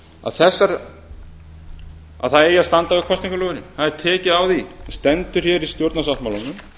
að það eigi að standa við kosningaloforðin það er tekið á því það stendur hér í stjórnarsáttmálanum